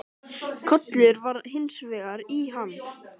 Kollur var hins vegar í ham.